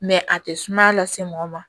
Mɛ a tɛ sumaya lase mɔgɔ ma